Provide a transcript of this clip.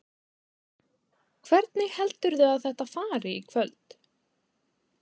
Hvernig heldurðu að þetta fari í kvöld?